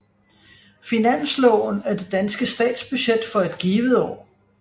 Finansloven er det danske statsbudget for et givet år